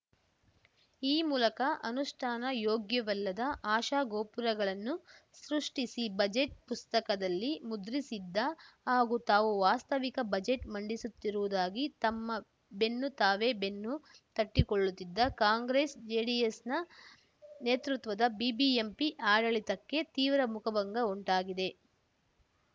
ಈ ಮೂಲಕ ಅನುಷ್ಠಾನ ಯೋಗ್ಯವಲ್ಲದ ಆಶಾ ಗೋಪುರಗಳನ್ನು ಸೃಷ್ಟಿಸಿ ಬಜೆಟ್‌ ಪುಸ್ತಕದಲ್ಲಿ ಮುದ್ರಿಸಿದ್ದ ಹಾಗೂ ತಾವು ವಾಸ್ತವಿಕ ಬಜೆಟ್‌ ಮಂಡಿಸುತ್ತಿರುವುದಾಗಿ ತಮ್ಮ ಬೆನ್ನು ತಾವೇ ಬೆನ್ನು ತಟ್ಟಿಕೊಳ್ಳುತ್ತಿದ್ದ ಕಾಂಗ್ರೆಸ್‌ಜೆಡಿಎಸ್‌ ನ ನೇತೃತ್ವದ ಬಿಬಿಎಂಪಿ ಆಡಳಿತಕ್ಕೆ ತೀವ್ರ ಮುಖಭಂಗ ಉಂಟಾಗಿದೆ